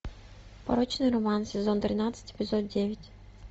порочный роман сезон тринадцать эпизод девять